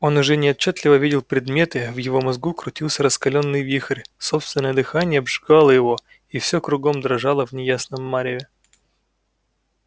он уже неотчётливо видел предметы в его мозгу крутился раскалённый вихрь собственное дыхание обжигало его и всё кругом дрожало в неясном мареве